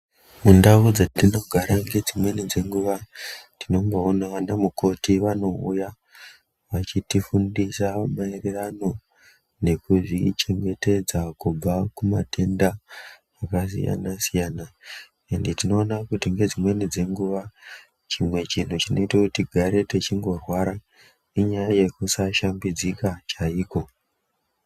Mundau dzetinogara ngedzimweni dzenguva tinoonavo vana mukoti vanouya vachitifundisa maererano nekuzvichengetedza kubva kumatenda akasiyana-siyana. Ende tinoona kuti ngedzimweni dzenguva chimwe chinhu chinoite kuti tigare techindorwara inyaya yekusashambidzika chaiko.